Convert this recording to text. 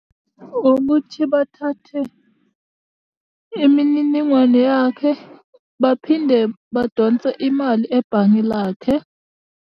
Ukuthi bathathe imininingwane yakhe, baphinde badonse imali ebhange lakhe.